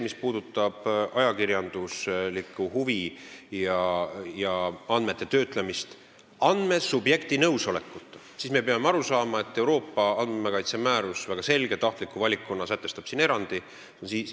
Mis puudutab ajakirjanduslikku huvi ja andmete töötlemist andmesubjekti nõusolekuta, siis me peame aru saama, et Euroopa andmekaitse määrus väga selge tahtliku valikuna sätestab siin erandi.